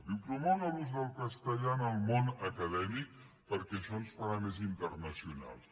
diu promoure l’ús del castellà en el món acadèmic perquè això ens farà més internacionals